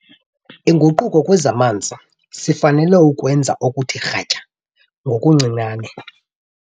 Inguquko kwezamanzi - sifanele ukwenza okuthe kratya ngokuncinane.